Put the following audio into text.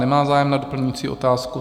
Nemá zájem na doplňující otázku.